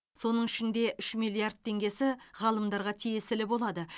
соның ішінде үш миллиард теңгесі ғалымдарға тиесілі болады